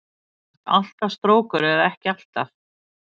Sem sagt alltaf strókur eða ekki alltaf?